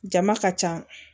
Jama ka ca